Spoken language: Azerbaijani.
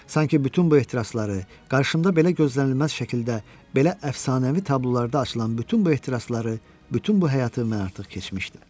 Sanki bütün bu ehtirasları, qarşımda belə gözlənilməz şəkildə, belə əfsanəvi tablolarda açılan bütün bu ehtirasları, bütün bu həyatı mən artıq keçmişdim.